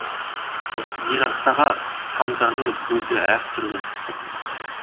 зираттағы тамдардың өзі әр түрлі